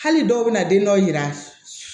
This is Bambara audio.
Hali dɔw bɛna den dɔw yira